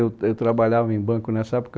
Eu, eu trabalhava em banco nessa época.